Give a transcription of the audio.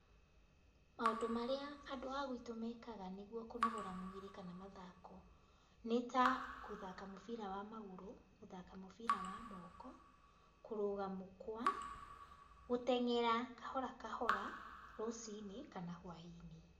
Maũndũ marĩa andũ a gwitũ meekaga nĩguo kũnogora mwĩrĩ kana mathako, nĩ ta, gũthaka mũbira wa magũru, gũthaka mũbira wa moko, kũrũga mũkwa, gũteng'era kahora kahora, rũciinĩ, kana hwaĩ-inĩ.